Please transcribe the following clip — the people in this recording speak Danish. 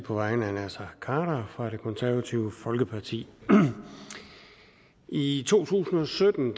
på vegne af herre naser khader fra det konservative folkeparti i to tusind og sytten